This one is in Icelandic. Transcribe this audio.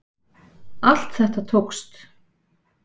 Allt þetta tókst.